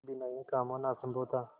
बिना यह काम होना असम्भव था